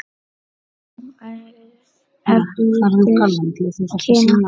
Þá efldust kynni okkar aftur.